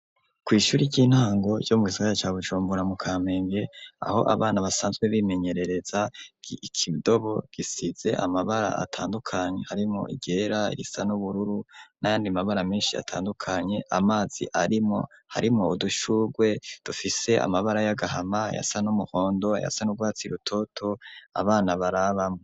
Kw'ishure ry'intango ryo mu gisagara ca Bujumbura mu kamenge, aho abana basanzwe bimenyerereza, ikidobo gisize amabara atandukanye harimwo iryera, irisa n'ubururu n'ayandi mabara menshi atandukanye, amazi arimwo, harimo udushugwe dufise amabara y'agahama, ayasa n'umuhondo, ayasa n'urwatsi rutoto, abana barabamwo.